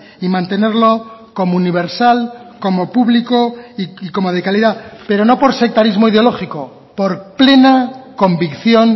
y mantenerlo como universal como público y como de calidad pero no por sectarismo ideológico por plena convicción